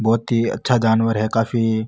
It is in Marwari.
बहुत ही अच्छा जानवर है काफी --